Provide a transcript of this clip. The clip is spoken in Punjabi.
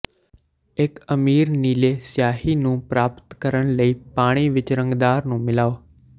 ਇੱਕ ਅਮੀਰ ਨੀਲੇ ਸਿਆਹੀ ਨੂੰ ਪ੍ਰਾਪਤ ਕਰਨ ਲਈ ਪਾਣੀ ਵਿੱਚ ਰੰਗਦਾਰ ਨੂੰ ਮਿਲਾਓ